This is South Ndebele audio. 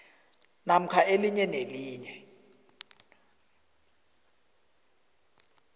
namkha elinye nelinye